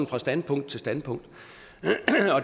fra standpunkt til standpunkt